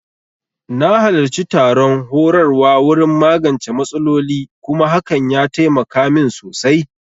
Na halarci taron horarwa wurin magance matsaloli kuma hakan ya taimaka min sosai